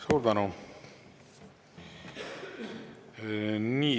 Suur tänu!